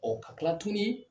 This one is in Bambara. Ɔ ka kila tuguni